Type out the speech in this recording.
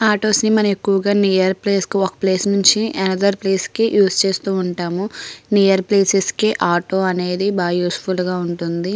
Autos ని మనం ఎక్కువుగా నియర్ ప్లేస్ కు ఒక ప్లేస్ నించి అనదర్ ప్లేస్ కి యూస్ చేసుకుంటూ ఉంటాము నియర్ ప్లేసెస్కి ఆటో అనేది బాగా యూస్ఫుల్ గా ఉంటుంది.